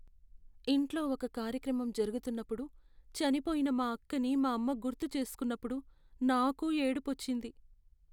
ఇంట్లో ఒక కార్యక్రమం జరుగుతున్నప్పుడు చనిపోయిన మా అక్కని మా అమ్మ గుర్తుచేసుకున్నపుడు, నాకూ ఏడుపొచ్చింది.